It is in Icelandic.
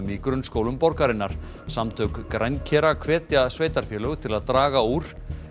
í grunnskólum borgarinnar samtök hvetja sveitarfélög til að draga úr